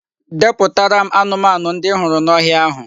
Depụtara m anụmanụ ndi I hụrụ n'ohia ahụ